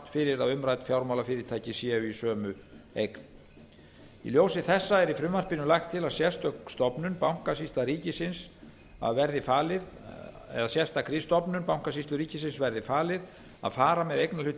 fyrir að umrædd fjármálafyrirtæki séu í sömu eign í ljósi þessa er í frumvarpinu lagt til að sérstakri stofnun bankasýslu ríkisins verði falið að fara með eignarhluti